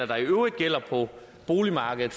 der i øvrigt gælder på boligmarkedet